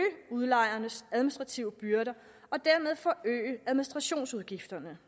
udlejernes administrative byrder og dermed forøge administrationsudgifterne